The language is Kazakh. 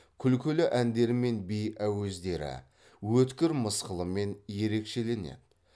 күлкілі әндері мен би әуездері өткір мысқылымен ерекшеленеді